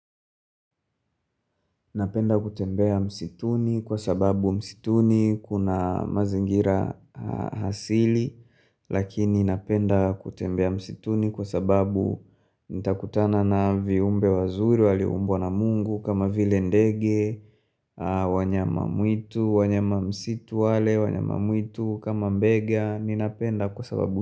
Napenda kutembea msituni kwa sababu msituni kuna mazingira asili Lakini napenda kutembea msituni kwa sababu nitakutana na viumbe wazuri waliumbwa na mungu kama vile ndege wanyama mwitu, wanyama msitu wale, wanyama mwitu kama mbega Ninapenda kwa sababu.